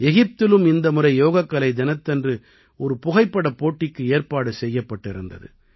எகிப்திலும் இந்த முறை யோகக்கலை தினத்தன்று ஒரு புகைப்படப் போட்டிக்கு ஏற்பாடு செய்யப்பட்டிருந்தது